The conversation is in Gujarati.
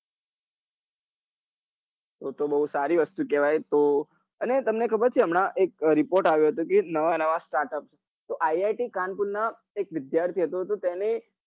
તો તો બઉ સારી વસ્તુ કેવાય તો અને તને ખબર છે હમણાં એક report આવ્યો હતો કે નવા નવા startup તો iit કાનપુર નાં એક વિદ્યાર્થી હતો તો તેને